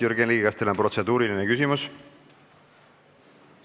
Jürgen Ligi, kas teil on protseduuriline küsimus?